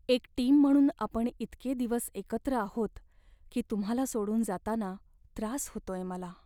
एक टीम म्हणून आपण इतके दिवस एकत्र आहोत की तुम्हाला सोडून जाताना त्रास होतोय मला.